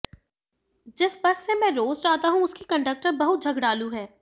जिस बस से मैं रोज जाता हूं उसकी कंडक्टर बहुत झगड़ालू है